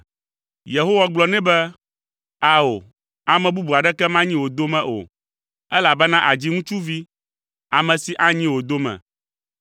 Yehowa gblɔ nɛ be, “Ao, ame bubu aɖeke manyi wò dome o, elabena àdzi ŋutsuvi, ame si anyi wò dome.”